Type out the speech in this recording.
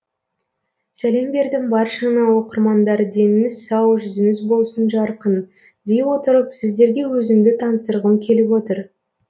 сәлем бердім баршаңа оқырмандар деніңіз сау жүзіңіз болсын жарқын дей отырып сіздерге өзімді таныстырғым келіп отыр